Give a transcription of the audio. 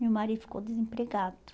Meu marido ficou desempregado.